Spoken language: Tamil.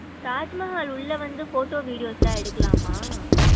தாஜ்மஹால் உள்ள வந்து photo videos லாம் எடுக்கலாமா?